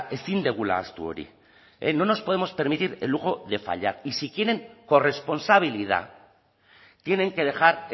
ezin dugula ahaztu hori no nos podemos permitir el lujo de fallar y si quieren corresponsabilidad tienen que dejar